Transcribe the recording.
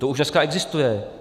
To už dneska existuje.